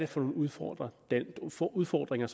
for nogle udfordringer udfordringer